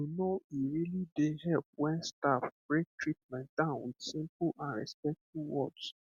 you know e really dey help when staff break treatment down with simple and respectful words